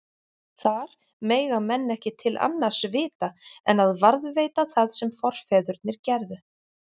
Þar mega menn ekki til annars vita en að varðveita það sem forfeðurnir gerðu.